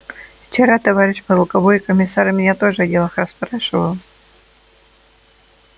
вчера товарищ полковой комиссар меня тоже о делах расспрашивал